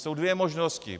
Jsou dvě možnosti.